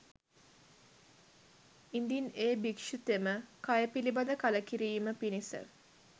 ඉදින් එ භික්‍ෂුතෙම කය පිළිබඳ කලකිරීම පිණිස